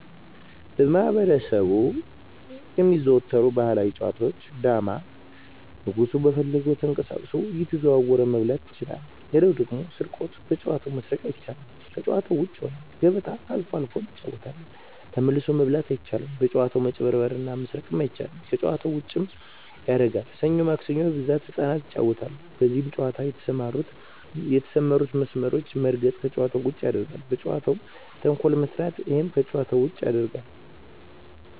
በማህበረሰቡ የሚዘወተሩ ባህላዊ ጨዋታ ዳማ ንጉሡ በፈለገው ተቀሳቅሶ እየተዘዋወረ መብላት ይችላል ሌላው ደግሞ ስርቆት በጨዋታው መስረቅ አይቻልም ከጭዋታ ውጭ ይሆናል ገበጣ አልፎ አልፎ እንጫወታለን ተመልሶ መብላት አይቻልም በጭዋታው መጭበርበር እና መስረቅ አይቻልም ከጨዋታው ዉጭም ያረጋል ሠኞ ማክሰኞ በብዛት ህጻናት ይጫወታሉ በዚህ ጨዋታ የተሠማሩትን መስመሮች መርገጥ ከጨዋታ ውጭ ያረጋል በጨዋታው መፈረ እና ተንኮል መስራት እሄም ከጨዋታ ውጭ ያረጋል